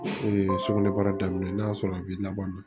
sugunɛbara daminɛ n'a sɔrɔ a b'i laban